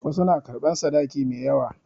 Wasu na karɓan sadaki mai yawa.